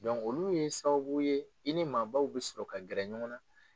olu ye sababu ye , i ni maabaw bi sɔrɔ ka gɛrɛ ɲɔgɔn na.